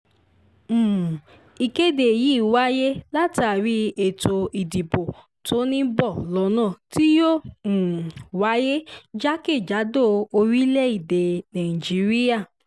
um ìkéde yìí wáyé látàrí ètò ìdìbò tó ń bọ̀ lọ́nà tí yóò um wáyé jákè-jádò orílẹ̀-èdè nàìjíríà